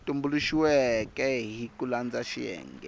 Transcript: tumbuluxiweke hi ku landza xiyenge